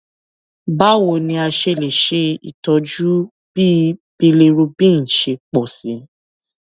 báwo ni a ṣe lè ṣe itọju bí bilirubin ṣe pọ sí i